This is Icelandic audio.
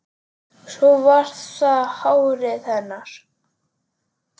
Svo var það hárið hennar.